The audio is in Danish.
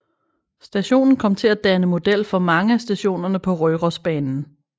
Stationen kom til at danne model for mange af stationerne på Rørosbanen